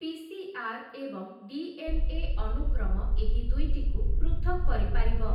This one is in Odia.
ପି.ସି.ଆର୍‌. ଏବଂ ଡି.ଏନ୍.ଏ. ଅନୁକ୍ରମ ଏହି ଦୁଇଟିକୁ ପୃଥକ୍‌ କରିପାରିବ ।